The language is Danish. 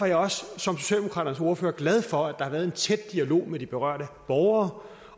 jeg også som socialdemokraternes ordfører glad for at der har været en tæt dialog med de berørte borgere